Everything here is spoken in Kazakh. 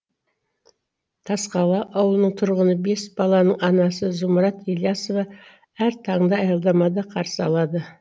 тасқала ауылының тұрғыны бес баланың анасы зұмрат ілиясова әр таңды аялдамада қарсы алады